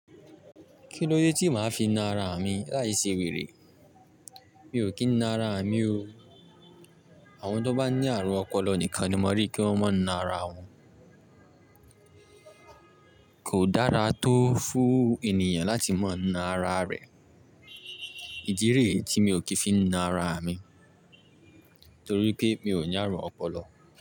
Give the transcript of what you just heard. Kí ló dé tí màá fi na ara mi láìṣe wèrè? Mi ò kí ń na ara mi o. Àwọn tó bá ní àrùn ọpọlọ nìkan ni mo rí kí wọ́n máa ń na ara wọn. Kò dára tó fún ènìyàn láti máa ń na ara rẹ̀. Ìdí rẹ̀ tí mi ò kí ń fi na ara mi torí pé mi ò ní àrùn ọpọlọ.